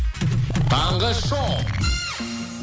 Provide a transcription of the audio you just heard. таңғы шоу